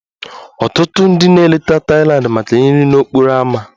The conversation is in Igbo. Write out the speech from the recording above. Ọtụtụ ndị na-eleta Thailand maka nri n'okporo ámá